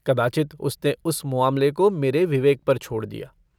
कदाचित् उसने इस मुआमले को मेरे विवेक पर छोड़ दिया।